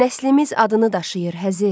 Nəslimiz adını daşıyır Həzi.